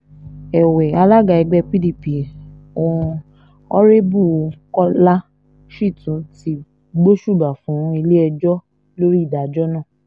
èwe alága ẹgbẹ́ pdp on arebu kọ́lá shitun ti gbósùbà fún ilé-ẹjọ́ lórí ìdájọ́ náà